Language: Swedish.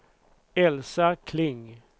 Elsa Kling